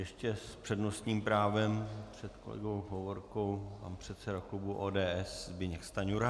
Ještě s přednostním právem před kolegou Hovorkou pan předseda klubu ODS Zbyněk Stanjura.